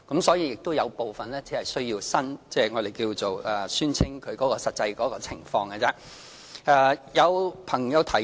所以，只有部分申請人需要就他們的實際情況作出宣稱。